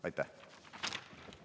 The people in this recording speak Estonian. Aitäh!